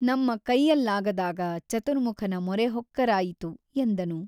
ನಮ್ಮ ಕೈಯಲ್ಲಾಗದಾಗ ಚತುರ್ಮುಖನ ಮೊರೆ ಹೊಕ್ಕರಾಯಿತು ಎಂದನು.